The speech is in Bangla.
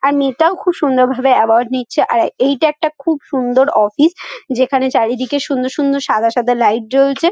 আর মেয়েটাও খুব সুন্দর ভাবে অ্যাওয়ার্ড নিচ্ছে আর এইটা একটা খুব সুন্দর অফিস । যেখানে চারিদিকে সুন্দর সুন্দর সাদা সাদা লাইট জ্বলছে ।